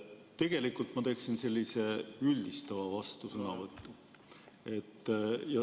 Tegelikult ma teen sellise üldistava vastusõnavõtu.